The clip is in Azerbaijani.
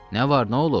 Nə var, nə olub?